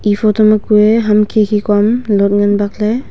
eya photo ma kue khikhi kuaham lot ngan bakley.